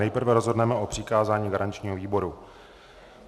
Nejprve rozhodneme o přikázání garančnímu výboru.